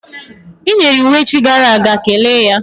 I nyere iwu echi gara aga, kelee ya!